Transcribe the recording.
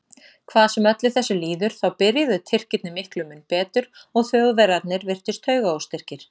Hvað sem öllu þessu líður þá byrjuðu Tyrkirnir miklu mun betur og Þjóðverjarnir virtust taugaóstyrkir.